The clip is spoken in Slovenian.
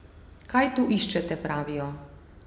Kaj tu iščete, pravijo.